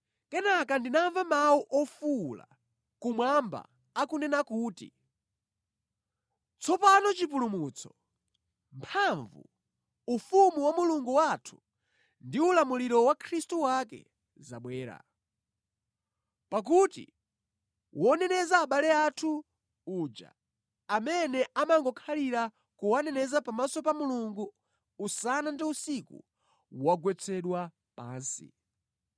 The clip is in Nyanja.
Kenaka ndinamva mawu ofuwula kumwamba akunena kuti, “Tsopano chipulumutso, mphamvu, ufumu wa Mulungu wathu ndi ulamuliro wa Khristu wake zabwera. Pakuti woneneza abale athu uja, amene amangokhalira kuwaneneza pamaso pa Mulungu usana ndi usiku, wagwetsedwa pansi.